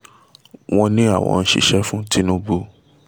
wọ́n ní àwọn ń ṣiṣẹ́ fún tinubu